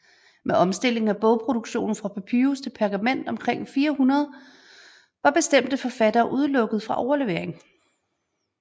Med omstilling af bogproduktionen fra papyrus til pergament omkring 400 var bestemte forfattere udelukket fra overlevering